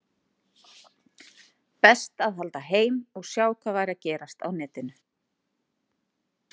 Best að halda heim og sjá hvað væri að gerast á netinu.